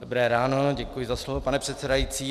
Dobré ráno, děkuji za slovo, pane předsedající.